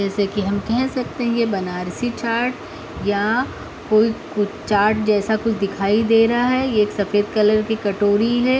जैसे कि हम कह सकते हैं ये बनारसी चाट या को कोई चाट जैसा दिखाई दे रहा है। ये सफेद कलर की कटोरी है।